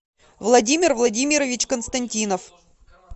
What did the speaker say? владимир владимирович константинов